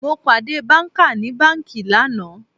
Mo pàdé banka ní banki lánàá